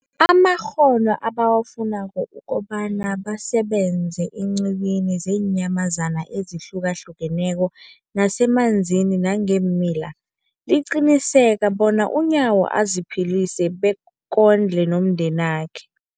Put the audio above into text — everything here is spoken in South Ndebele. amakghono ebawafunako ukobana basebenze eenqiwini zeenyamazana ezihlukahlukeneko nezemanzini nangeemila, liqinisekisa bona uNyawo aziphilise bekondle nomndenakhe.